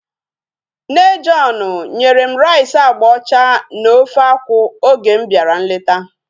Nne John nyere m rice agba ọcha na ofe akwụ oge m bịara nleta